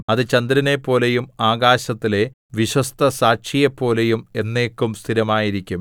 അത് ചന്ദ്രനെപ്പോലെയും ആകാശത്തിലെ വിശ്വസ്തസാക്ഷിയെപ്പോലെയും എന്നേക്കും സ്ഥിരമായിരിക്കും സേലാ